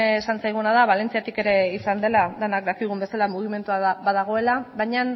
esan zaiguna da balentziatik ere izan dela denak dakigun bezala mugimendua badagoela baina